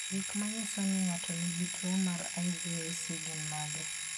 Gik manyiso ni ng'ato nigi tuwo mar IVIC gin mage?